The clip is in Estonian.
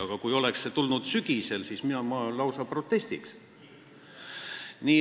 Aga kui see oleks tulnud sügisel, siis mina lausa protestiks.